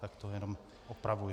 Tak to jenom opravuji.